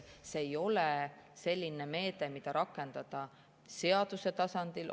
See ei ole selline meede, mida rakendada seaduse tasandil.